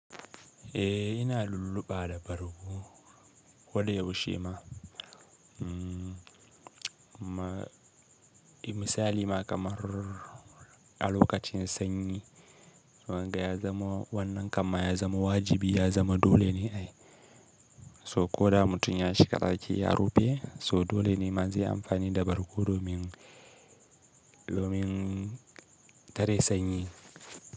Eh ina lulluɓa da bargo koda yaushe ma. Mmm, misali ma kamar a lokacin sanyi wanga ya zama wannan kan ma ya zama wajibi ya zama dole ne ai so ko da mutum ya shiga ɗaki ya rufe so dole ne ma zai amfani da bargo domin, domin tare sanyi.